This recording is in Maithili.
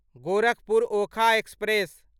गोरखपुर ओखा एक्सप्रेस